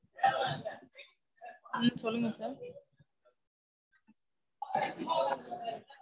உம் சொல்லுங்க sir.